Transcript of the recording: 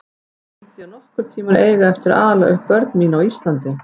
Skyldi ég nokkurn tíma eiga eftir að ala upp börn mín á Íslandi?